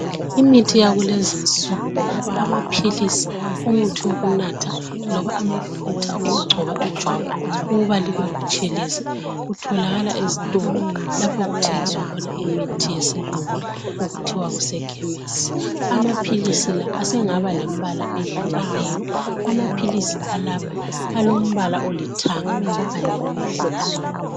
imithi yakulezinsuku amaphilisi umuthi okunatha loba amafutha okugcoba ijwabu ukuba libe butshelezi kutholakala ezitolo lapho okuthengiswa khona imithi yesilungu okuthiwa kuse khemesi amaphilisi sengaba lembala ehlukeneyo amaphilisi alomabala olithanga kanye lomhlophe